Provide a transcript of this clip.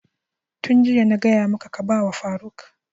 Yun jiya na gaya maka ka ba wa faruk!